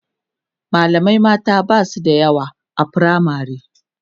mallamai mata Basu da yawa a firamare